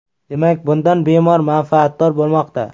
Demak, bundan bemor manfaatdor bo‘lmoqda.